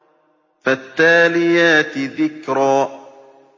فَالتَّالِيَاتِ ذِكْرًا